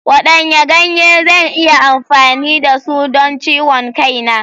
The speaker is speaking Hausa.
Wadanne ganye zan iya amfani da su don ciwon kai na?